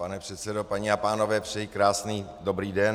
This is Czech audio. Pane předsedo, paní a pánové, přeji krásný dobrý den.